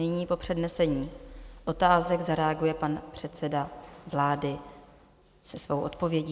Nyní po přednesení otázek zareaguje pan předseda vláda se svou odpovědí.